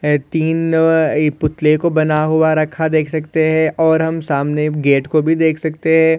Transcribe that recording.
अ-तीन एक पुतले को बना हुआ रखा देख सकते है और हम सामने गेट को भी देख सकते है।